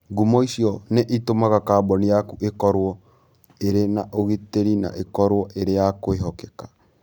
Ngumo icio nĩ itũmaga kambuni yaku ĩkorũo ĩrĩ na ũgitĩri na ĩkorũo ĩrĩ ya kwĩhokeka.